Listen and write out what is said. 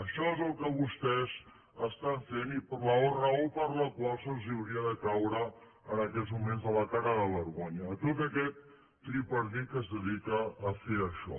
això és el que vostès estan fent i la raó per la qual els hauria de caure en aquests moments la cara de vergonya a tot aquest tripartit que es dedica a fer això